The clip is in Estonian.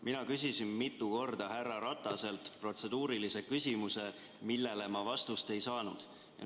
Mina küsisin mitu korda härra Rataselt protseduurilise küsimuse, millele ma vastust ei saanud.